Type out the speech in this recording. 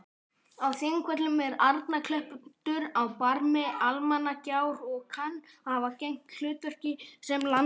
Á Þingvöllum er Arnarklettur á barmi Almannagjár og kann að hafa gegnt hlutverki sem landamerki.